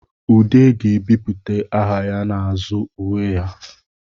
Ude ga-ebipụta aha ya n'azụ uwe ya